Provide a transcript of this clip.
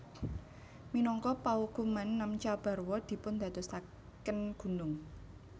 Minangka paukuman Namcha Barwa dipundadosaken gunung